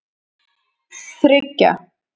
þriggja